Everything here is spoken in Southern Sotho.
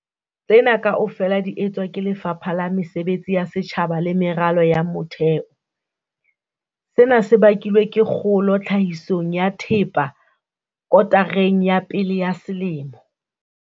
Tsena kaofela di etswa ke Lefapha la Mesebetsi ya Setjhaba le Meralo ya Motheo. Sena se bakilwe ke kgolo tlhahisong ya thepa kotareng ya pele ya selemo.